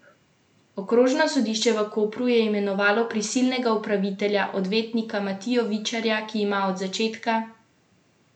Okrožno sodišče v Kopru je imenovalo prisilnega upravitelja, odvetnika Matijo Vičarja, ki ima od začetka tedna v rokah poslovanje kluba in nadzor nad financami.